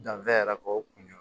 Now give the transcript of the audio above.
Danfɛn yɛrɛ kɔ o kun ye